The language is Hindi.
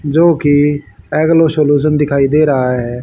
जो कि एग्लो सॉल्यूशन दिखाई दे रहा है।